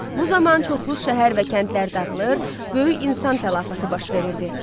Bu zaman çoxlu şəhər və kəndlər dağılır, böyük insan tələfatı baş verirdi.